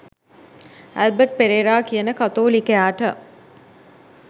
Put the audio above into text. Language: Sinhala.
ඇල්බට් පෙරේරා කියන කතෝලිකයාට